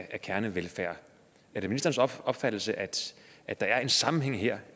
af kernevelfærd er det ministerens opfattelse at at der er en sammenhæng her